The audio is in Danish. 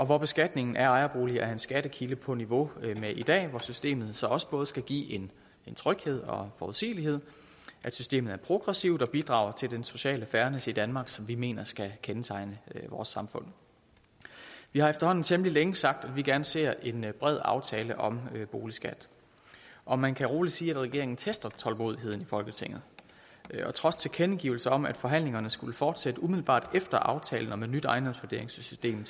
hvor beskatningen af ejerboliger er en skattekilde på niveau med i dag hvor systemet så også både skal give en tryghed og en forudsigelighed og systemet er progressivt og bidrager til den sociale fernis i danmark som vi mener skal kendetegne vores samfund vi har efterhånden temmelig længe sagt at vi gerne ser en bred aftale om boligskatten og man kan roligt sige at regeringen tester tålmodigheden i folketinget trods tilkendegivelser om at forhandlingerne skulle fortsætte umiddelbart efter aftalen om et nyt ejendomsvurderingssystem